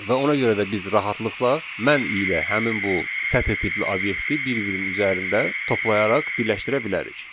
Və ona görə də biz rahatlıqla mən ilə həmin bu sətr tipli obyekti bir-birinin üzərində toplayaraq birləşdirə bilərik.